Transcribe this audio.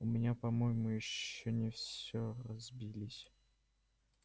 у меня по-моему ещё не всё разбились